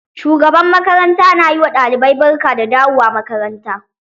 Shugaban makaranta na yi ma ɗalibai barka da dawowa makaranta